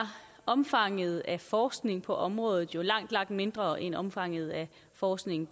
omfanget af forskning på området jo langt langt mindre end omfanget af forskning